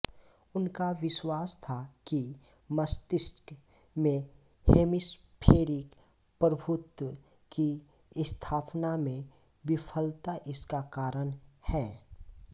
उनका विश्वास था कि मस्तिष्क में हेमीस्फेरिक प्रभुत्व की स्थापना में विफलता इसका कारण है